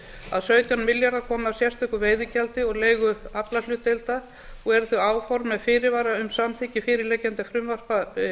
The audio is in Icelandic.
að sautján milljarðar komi af sérstöku veiðigjaldi og leigu aflahlutdeilda og eru þau áform með fyrirvara um samþykkt fyrirliggjandi frumvarpa